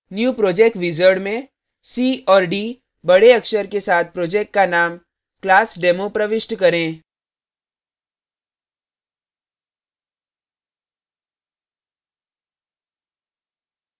new project wizard में c और d बडे अक्षर के साथ project का name classdemo प्रविष्ट करें